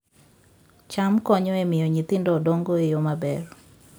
cham konyo e miyo nyithindo dongo e yo maber